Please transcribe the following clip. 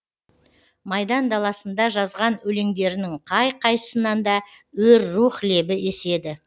майдан даласында жазған өлеңдерінің қай қайсысынан да өр рух лебі еседі